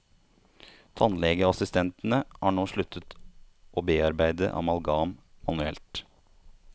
Tannlegeassistentene har nå sluttet å bearbeide amalgam manuelt.